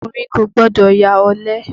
Ọkùnrin kò gbọdọ̀ ya ọ̀lẹ.